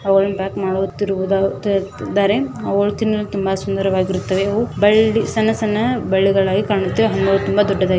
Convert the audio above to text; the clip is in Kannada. ಅವಳು ತಿನ್ನಲು ತುಂಬಾ ಸುಂದರವಾಗಿರುತ್ತದೆ ಬಳ್ಳಿ ಸಣ್ಣ ಸಣ್ಣ ಬಳ್ಳಿಗಾಗಿ ಹಾಗಾಗಿ ತುಂಬಾ ದೊಡ್ಡದಾಗಿ --